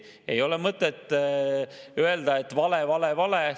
Ei ole mõtet öelda, et vale, vale, vale.